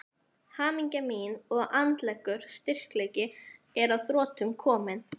Hamingja mín og andlegur styrkleiki er að þrotum kominn.